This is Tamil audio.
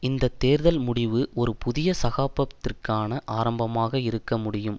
இந்த தேர்தல் முடிவு ஒரு புதிய சகாப்த்தத்திற்கான ஆரம்பமாக இருக்க முடியும்